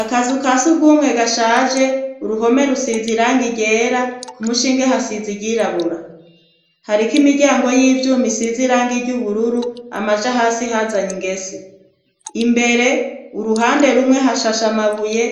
Akazu ka si rw'umwe gashaje uruhome rusiza irange igera ku mushinge hasizi iyirabura hariko imiryango y'ivyumi siza iranga ry'ubururu amaja hasi hazanye ingese imbere uruhande rumwe hashasha amabuye